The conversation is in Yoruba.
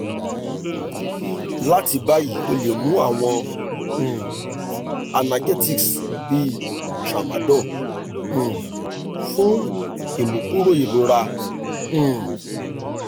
lati bayi o le mu awọn um analgesics bi tramadol um fun imukuro irora um